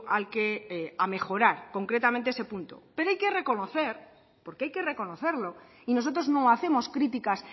al que a mejorar concretamente ese punto pero hay que reconocer porque hay que reconocerlo y nosotros no hacemos criticas